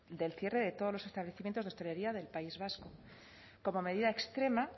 del cierre de todos los establecimientos de hostelería del país vasco como medida extrema